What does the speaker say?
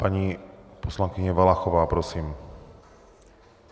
Paní poslankyně Valachová, prosím.